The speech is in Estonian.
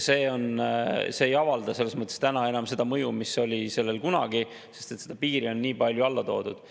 See ei avalda selles mõttes täna enam seda mõju, mis oli sellel kunagi, sest seda piiri on nii palju alla toodud.